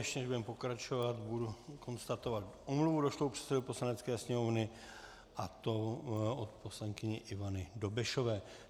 Ještě než budeme pokračovat, budu konstatovat omluvu došlou předsedovi Poslanecké sněmovny, a to od poslankyně Ivany Dobešové.